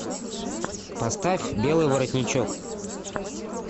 поставь белый воротничок